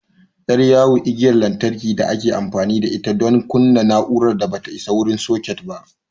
Ƴar yawo igiyar lantarki da ake amfani da ita don kunna na'urar da ba ta isa wurin soket ba.